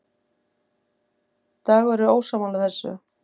Dagur er ósammála þessu.